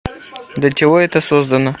для чего это создано